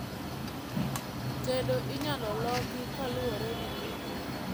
Tedo inyalo loki kaluore gi gik mang'eny